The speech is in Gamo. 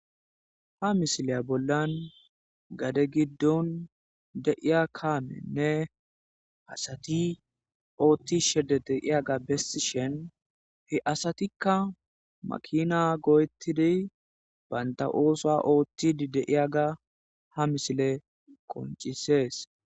Ha misileya bollan gade giddon deiya kaamenne asati oothti shede deiyaga besi shen he asatikka makina goyetidi baynta oosa oottidi deiyaga ha misile koncisees.